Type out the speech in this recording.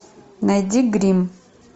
найди гримм